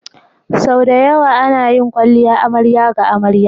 Sau da yawa ana yin kwalliya amarya ga amarya.